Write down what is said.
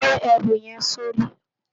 Gbé èrú yèn si óri